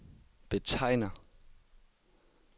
betegner